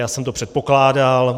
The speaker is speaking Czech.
Já jsem to předpokládal.